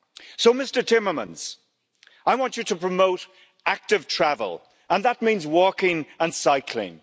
So, Mr Timmermans, I want you to promote active travel and that means walking and cycling.